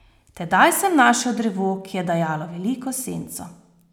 Tedaj sem našel drevo, ki je dajalo veliko senco.